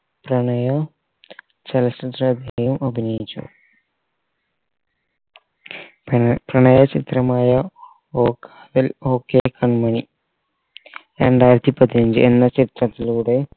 പ്രണയം ചല യും അഭിനയിച്ചു പിന്നെ പ്രണയ ചിത്രമായ ഓക്ക് എൽ okay കണ്മണി രണ്ടായിരത്തി പതിനഞ്ചു എന്ന ചിത്രത്തിലൂടെ